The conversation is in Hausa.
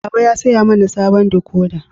Baba ya saya mana sabon dikoda.